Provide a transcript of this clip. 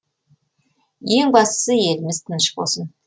ең бастысы еліміз тыныш болсын